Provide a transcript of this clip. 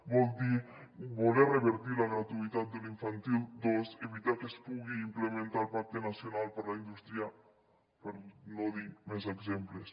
vol dir voler revertir la gratuïtat de l’infantil dos evitar que es pugui implementar el pacte nacional per a la indústria per no dir més exemples